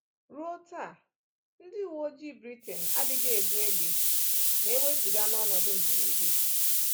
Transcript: Ruo taa, ndị uwe ojii Britain adịghị ebu égbè ma e wezụga n’ọnọdụ mberede.